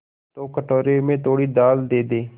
तो कटोरे में थोड़ी दाल दे दे